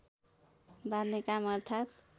बाँध्ने काम अर्थात्